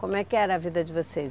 Como é que era a vida de vocês?